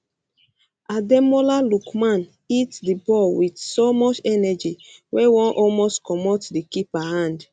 ademola lookman hit di ball wit so much energy wey wan almost comot di keeper hand